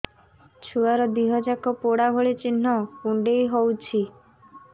ଛୁଆର ଦିହ ଯାକ ପୋଡା ଭଳି ଚି଼ହ୍ନ କୁଣ୍ଡେଇ ହଉଛି